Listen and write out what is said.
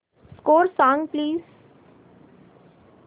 score सांग please